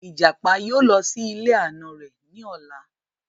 Ìjàpá yóò lọ sí ilé àna rẹ̀ ní ola